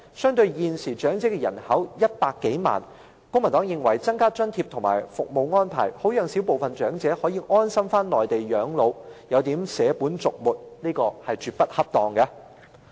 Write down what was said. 相對於現時香港有100多萬名長者人口，公民黨認為增加津貼和服務安排，讓小部分長者可以安心返回內地養老的建議，有點捨本逐末，絕不恰當。